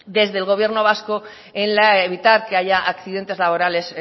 desde el gobierno vasco en evitar que haya accidentes laborales